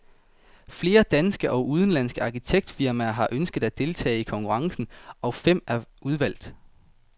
Flere danske og udenlandske arkitektfirmaer har ønsket at deltage i konkurrencen, og fem er udvalgt.